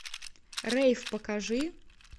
рейв покажи